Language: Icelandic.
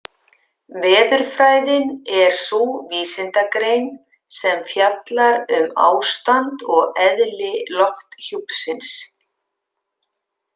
Veðurfræðin er sú vísindagrein sem fjallar um ástand og eðli lofthjúpsins.